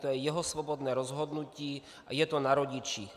To je jeho svobodné rozhodnutí a je to na rodičích.